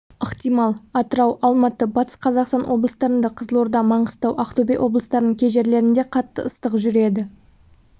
ықтимал атырау алматы батыс қазақстан облыстарында қызылорда маңғыстау ақтөбе облыстарының кей жерлерінде қатты ыстық жүреді